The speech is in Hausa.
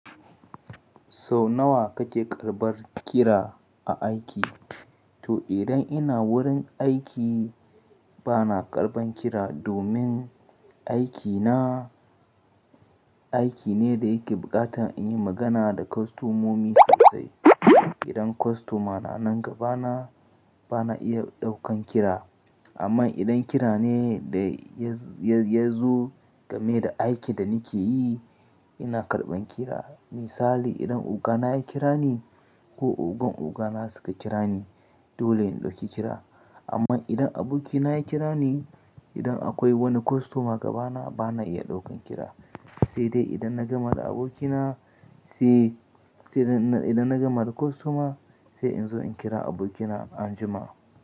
Sau nawa kake karɓar kira a aiki? To idan ina wurin aiki bana karɓan kira, domin aikina, aiki ne da yake buƙatan in yi magana da kostomomi sosai. Idan kostoma na nan gabana, bana iya ɗaukan kira, amma idan kira ne da ya, ya, ya zo game da aikin da nike yi ina karɓan kira. Misali, idan ogana ya kira ni ko ogan ogana suka kira ni dole in ɗauki kira. Amma idan abokina ya kira ni, idan akwai wani kostoma gabana bana iya ɗaukan kira, sai dai idan na gama da abokina sai, sai idan na gama da kostoma, sai in zo in kira abokina anjima.